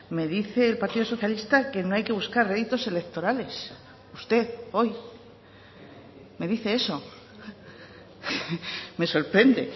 me dice el partido socialista que no hay que buscar réditos electorales usted hoy me dice eso me sorprende